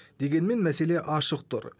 дегенмен мәселе ашық тұр